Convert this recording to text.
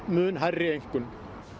mun hærri einkunn